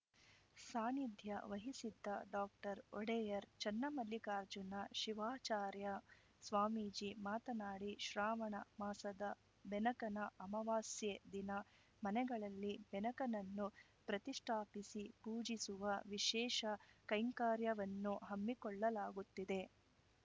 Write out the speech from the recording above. ಸಾನ್ನಿಧ್ಯ ವಹಿಸಿದ್ದ ಡಾಕ್ಟರ್ ಒಡೆಯರ್‌ ಚನ್ನಮಲ್ಲಿಕಾರ್ಜುನ ಶಿವಾಚಾರ್ಯ ಸ್ವಾಮೀಜಿ ಮಾತನಾಡಿ ಶ್ರಾವಣ ಮಾಸದ ಬೆನಕನ ಅಮಾವಾಸ್ಯೆ ದಿನ ಮನೆಗಳಲ್ಲಿ ಬೆನಕನನ್ನು ಪ್ರತಿಷ್ಠಾಪಿಸಿ ಪೂಜಿಸುವ ವಿಶೇಷ ಕೈಂಕರ್ಯವನ್ನು ಹಮ್ಮಿಕೊಳ್ಳಲಾಗುತ್ತಿದೆ